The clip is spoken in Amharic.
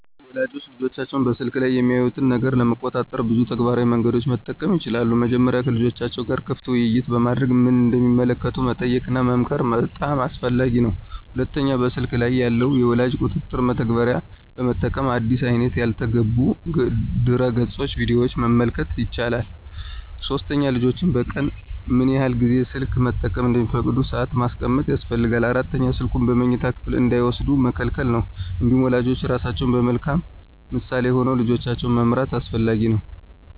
ወላጆች ልጆቻቸው በስልክ ላይ የሚያዩትን ነገር ለመቆጣጠር ብዙ ተግባራዊ መንገዶችን መጠቀም ይችላሉ። መጀመሪያ ከልጆቻቸው ጋር ክፍት ውይይት በማድረግ ምን እንደሚመለከቱ መጠየቅና መመክር በጣም አስፈላጊ ነው። ሁለተኛ በስልክ ላይ ያሉ የወላጅ ቁጥጥር መተግበሪያዎችን በመጠቀም አዲስ አይነት ያልተገቡ ድረገፆችንና ቪዲዮዎችን መከልከል ይቻላል። ሶስተኛ ልጆች በቀን ምን ያህል ጊዜ ስልክ መጠቀም እንደሚፈቀድ ሰአት ማስቀመጥ ያስፈልጋል። አራተኛ ስልኩን በመኝታ ክፍል እንዳይወስዱ መከልከል ነው። እንዲሁም ወላጆች ራሳቸው በመልካም ምሳሌ ሆነው ልጆቻቸውን መምራት አስፈላጊ ነው።